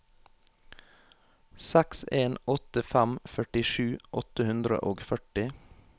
seks en åtte fem førtisju åtte hundre og førti